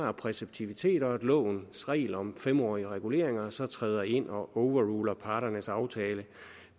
er præceptivitet og at lovens regel om fem årige reguleringer så træder ind og overruler parternes aftale